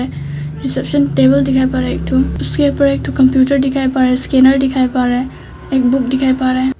Reception table दिखाई पड़ रहा है एक ठो उसके ऊपर एक ठो कंप्यूटर दिखाई पड़ रहा है स्कैनर दिखाई पड़ रहा है एक बुक दिखाई पड़ रहा है।